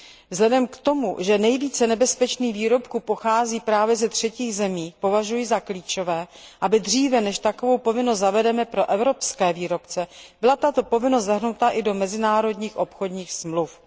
Vzhledem k tomu, že nejvíce nebezpečných výrobků pochází právě ze třetích zemí, považuji za klíčové, aby dříve než takovou povinnost zavedeme pro evropské výrobce, byla tato povinnost zahrnuta i do mezinárodních obchodních smluv.